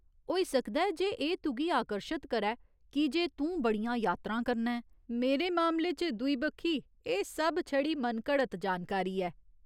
होई सकदा ऐ जे एह् तुगी आकर्शत करै कीजे तूं बड़ियां यात्रां करना ऐं , मेरे मामले च, दूई बक्खी, एह् सब छड़ी मनघड़त जानकारी ऐ।